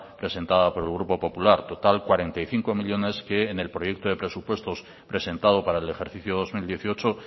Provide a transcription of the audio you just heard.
presentada por el grupo popular total cuarenta y cinco millónes que en el proyecto de presupuestos presentado para el ejercicio dos mil dieciocho